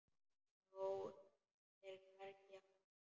Þá er hvergi að sjá.